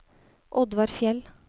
Oddvar Fjeld